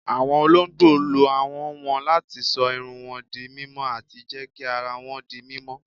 Awọn ọ̀lọ̀gbọ̀ ló áhọn wọn láti ṣọ̀ ìrùn wọn dí mímọ̀ ati jẹ́ kí àrà wọn dí mímọ̀.